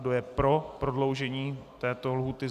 Kdo je pro prodloužení této lhůty?